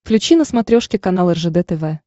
включи на смотрешке канал ржд тв